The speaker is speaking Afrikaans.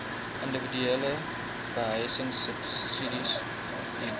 individuele behuisingsubsidies diens